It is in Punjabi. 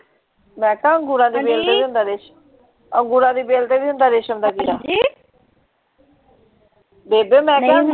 ਮੈਂ ਕਿਹਾ ਅੰਗੂਰਾਂ ਦੀ ਬੇਲ ਤੇ ਵੀ ਹੁੰਦਾ ਅੰਗੂਰਾਂ ਦੀ ਬੇਲ ਤੇ ਵੀ ਹੁੰਦਾ ਰੇਸ਼ਮ ਦਾ ਕੀੜਾ, ਹਾਂਜੀ ਬੇਬੇ ਮੈਂ ਕਿਹਾ,